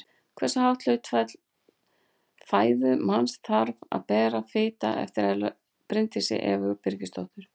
Hversu hátt hlutfall fæðu manns þarf að vera fita eftir Bryndísi Evu Birgisdóttur.